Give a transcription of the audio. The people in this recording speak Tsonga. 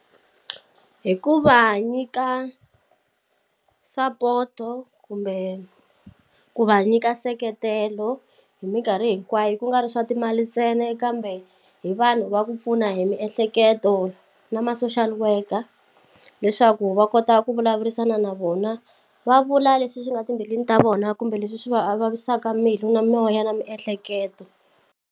Hi ku va nyika sapoto kumbe ku va nyika nseketelo hi minkarhi hinkwayo ku nga ri swa timali ntsena kambe hi vanhu va ku pfuna hi miehleketo na ma social worker leswaku va kota ku vulavurisana na vona va vula leswi swi nga timbilwini ta vona kumbe leswi swi va vavisaka mbilu na moya na miehleketo.